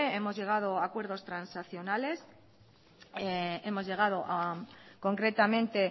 hemos llegado a acuerdos transaccionales concretamente